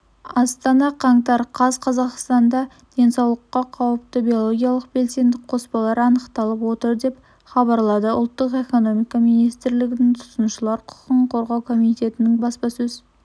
астана қаңтар қаз қазақстанда денсаулыққа қауіпті биологиялық белсенді қоспалар анықталып отыр деп хабарлады ұлттық экономика министрлгінің тұтынушылар құқығын қорғау комитетінің баспасөз